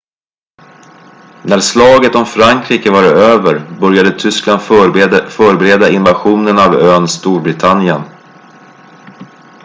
när slaget om frankrike var över började tyskland förbereda invasionen av ön storbritannien